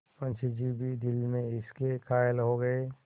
मुंशी जी भी दिल में इसके कायल हो गये